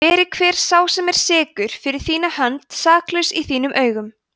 veri hver sá sem er sekur fyrir þína hönd saklaus í þínum augum